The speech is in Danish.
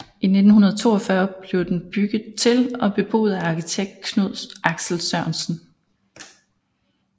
I 1942 blev den bygget til og beboet af arkitekt Knud Axel Sørensen